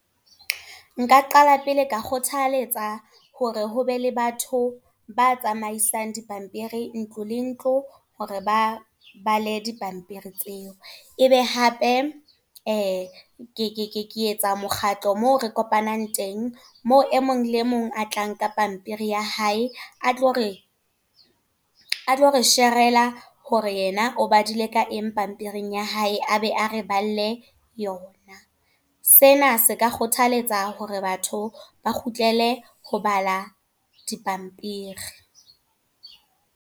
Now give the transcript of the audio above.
Nka qala pele ka kgothaletsa, hore ho be le batho ba tsamaisang dipampiri, ntlo le ntlo, hore ba bale di pampiri tseo. E be hape ke etsa mokgatlo moo re kopanang teng. Moo e mong le mong a tlang ka pampiri ya hae. A tlore a tlo re share-rela hore yena o badile le ka eng pampiring ya hae, a be a re balle yona. Sena se ka kgothaletsa hore batho, ba kgutlele ho bala dipampiri.